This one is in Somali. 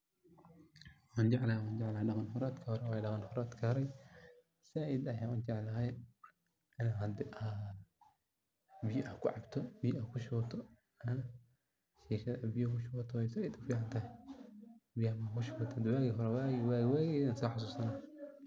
Waan jeclahay lama huraadki horay waye sait ayaan ujeclahay biya aad kucabto biya aad kushubato ayeey sait ufican tahay, waagi hore ayaan soo xasuuste.